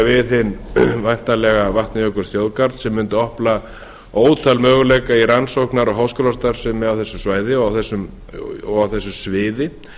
við hinn væntanlega vatnajökulsþjóðgarð sem mundi opna ótal möguleika í rannsóknar og háskólastarfsemi á þessu svæði og á þessu sviði